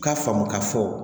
U k'a faamu k'a fɔ